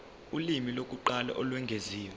ulimi lokuqala olwengeziwe